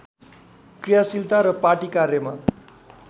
क्रियाशीलता र पार्टी कार्यमा